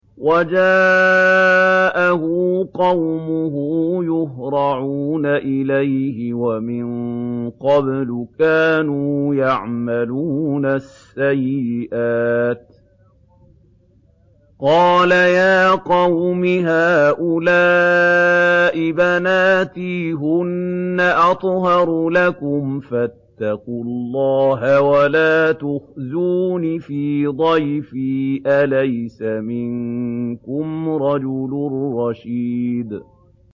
وَجَاءَهُ قَوْمُهُ يُهْرَعُونَ إِلَيْهِ وَمِن قَبْلُ كَانُوا يَعْمَلُونَ السَّيِّئَاتِ ۚ قَالَ يَا قَوْمِ هَٰؤُلَاءِ بَنَاتِي هُنَّ أَطْهَرُ لَكُمْ ۖ فَاتَّقُوا اللَّهَ وَلَا تُخْزُونِ فِي ضَيْفِي ۖ أَلَيْسَ مِنكُمْ رَجُلٌ رَّشِيدٌ